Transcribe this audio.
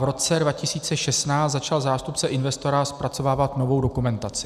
V roce 2016 začal zástupce investora zpracovávat novou dokumentaci.